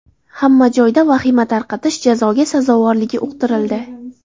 Hamma joyda vahima tarqatish jazoga sazovorligi uqtirildi.